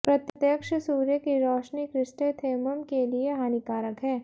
प्रत्यक्ष सूर्य की रोशनी क्रिस्टेंथेमम के लिए हानिकारक है